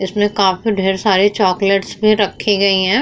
इसमें काफी ढेर सारी चॉकलेट्स भी रखी गयी हैं।